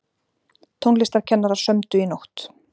Tónlistarkennarar sömdu í nótt